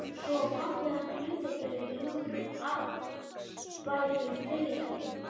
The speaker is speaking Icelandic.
Svo á pabbi hans hlutabréf í nokkrum arðbærum fyrirtækjum.